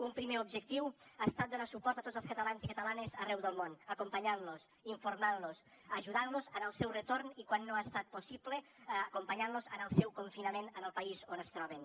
un primer objectiu ha estat donar suport a tots els catalans i catalanes arreu del món acompanyant los informant los ajudant los en el seu retorn i quan no ha estat possible acompanyant los en el seu confinament en el país on es troben